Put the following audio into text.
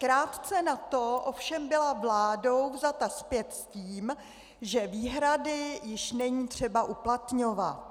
Krátce na to ovšem byla vládou vzata zpět s tím, že výhrady již není třeba uplatňovat.